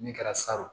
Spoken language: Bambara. Min kɛra salon